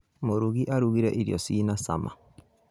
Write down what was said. Mũrugi arugĩte irio ci na cama